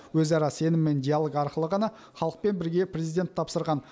өзара сенім мен диалог арқылы ғана халықпен бірге президент тапсырған